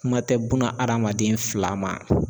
Kuma tɛ buna adamaden fila ma